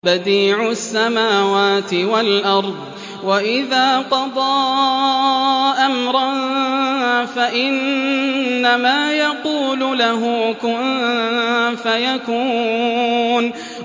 بَدِيعُ السَّمَاوَاتِ وَالْأَرْضِ ۖ وَإِذَا قَضَىٰ أَمْرًا فَإِنَّمَا يَقُولُ لَهُ كُن فَيَكُونُ